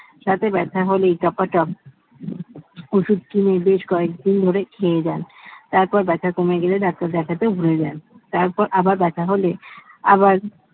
দাঁতে ব্যাথা হলে টপাটপ ওষুধ কিনে বেশ কয়েকদিন ধরে খেয়ে যান তারপর ব্যথা কমে গেলে doctor দেখাতে ভুলে যা ভুলে যান তারপর আবার ব্যথা হলে তারপর